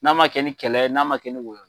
N'a ma kɛ ni kɛlɛ ye, n'a ma kɛ ni wɔyɔ ye,